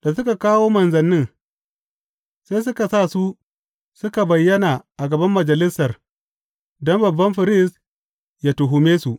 Da suka kawo manzannin, sai suka sa su suka bayyana a gaban Majalisar don babban firist ya tuhume su.